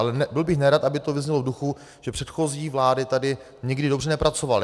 Ale byl bych nerad, aby to vyznělo v duchu, že předchozí vlády tady nikdy dobře nepracovaly.